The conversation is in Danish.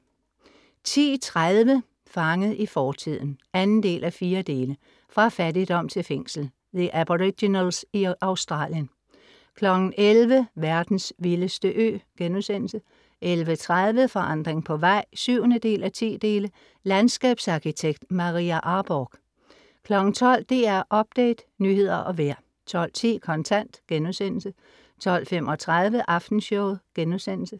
10:30 Fanget i fortiden (2:4) Fra fattigdom til fængsel. The Aboriginals i Australien 11:00 Verdens vildeste ø* 11:30 Forandring på vej (7:10) Landskabsarkitekt Maria Arborgh 12:00 DR Update, nyheder og vejr 12:10 Kontant* 12:35 Aftenshowet*